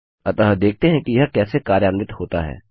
अतः देखते हैं कि यह कैसे कार्यान्वित होता है